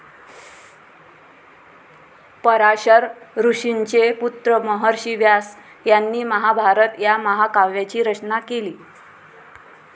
पराशर ऋषींचे पुत्र महर्षी व्यास यांनी महाभारत या महाकाव्याची रचना केली.